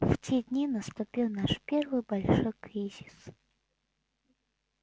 в те дни наступил наш первый большой кризис